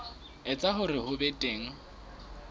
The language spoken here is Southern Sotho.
etsa hore ho be teng